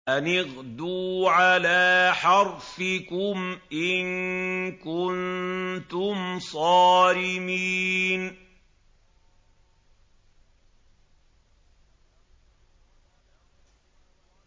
أَنِ اغْدُوا عَلَىٰ حَرْثِكُمْ إِن كُنتُمْ صَارِمِينَ